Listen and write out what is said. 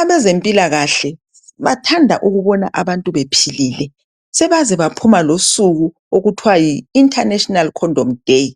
Abezempilakahle bathanda ukubona abantu bephilile. Sebaze baphuma losuku okuthiwa yi International Condom Day.